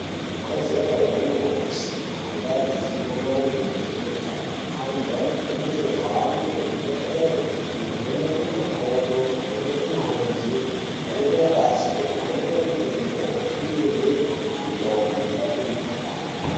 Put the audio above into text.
Ikodzero yemuntu wese kunge ane zivo maringe ngezveutano antu anokurudzirwe kuhamba kuzvibhedhleya kunovhenekwa makodo, kovhenekwe mirenje, kovhenekwe ngazi ngekuvhenekwe mutundo opihwe mitombo inorape mikuhlani.